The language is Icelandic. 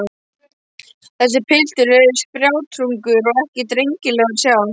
Þessi piltur er spjátrungur og ekki drengilegur að sjá.